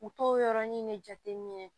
U t'o yɔrɔni de jateminɛ